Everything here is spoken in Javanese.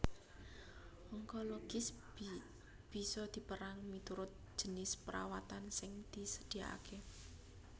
Onkologis bisa dipérang miturut jinis perawatan sing disadiakaké